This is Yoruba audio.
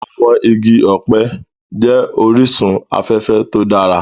Àwọn igi ọ̀pẹ jẹ́ orísun afẹ́fẹ́ to dára